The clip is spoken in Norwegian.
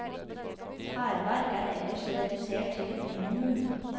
Hærverk er ellers redusert til et minimum.